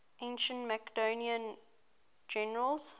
ancient macedonian generals